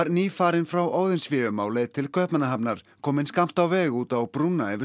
nýfarin frá Óðinsvéum á leið til Kaupmannahafnar komin skammt á veg út á brúna yfir